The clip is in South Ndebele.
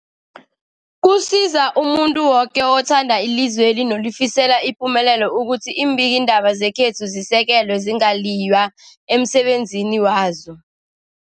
Kusiza umuntu woke othanda ilizweli nolifisela ipumelelo ukuthi iimbikiindaba zekhethu zisekelwe, zingaliywa emsebenzini wazo.